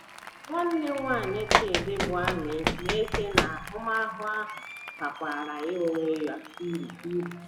Nwanne nwanyị Chidi, bụ́ Amy, na - eche na ahụmahụ ahụ bakwaara ya onwe ya uru uru.